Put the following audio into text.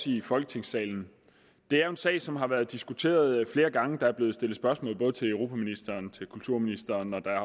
i folketingssalen det er jo en sag som har været diskuteret flere gange der er blevet stillet spørgsmål både til europaministeren og til kulturministeren og der